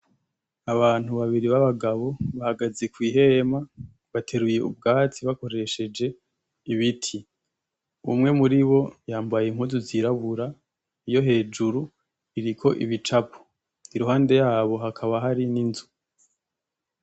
Abantu babiri b'abagabo bahagaze ku ihema bateruye ubwatsi bakoresheje ibiti, umwe muri bo yambaye impuzu zirabura iyo hejuru iriko ibicapo iruhande yabo hakaba hari n'inzu.